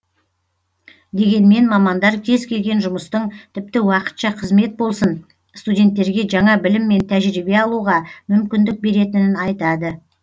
дегенмен мамандар кез келген жұмыстың тіпті уақытша қызмет болсын студенттерге жаңа білім мен тәжірибе алуға мүмкіндік беретінін айтады